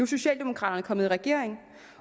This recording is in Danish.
socialdemokraterne kommet i regering